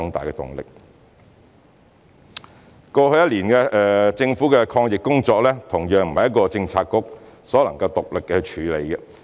政府過去一年多的抗疫工作，同樣不是一個政策局所能獨力處理。